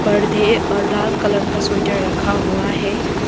पर्दे और लाल कलर का स्वेटर रखा हुआ है।